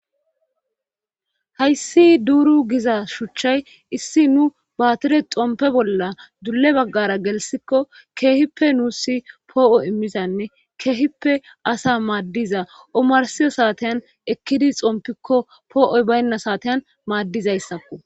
Hayssi duuru giza shuchchay issi nu baatire xompe bolla dulle baggara gelsikko keehippe nuussi poo7o immizanne keehippe asa maaddiza omarsiyo saateyan ekkidi xompikko poo7oy baynna saateyan maaddizayssakko